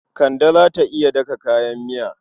Kande ta iya daka kayan miya.